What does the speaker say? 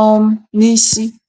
um n’isi.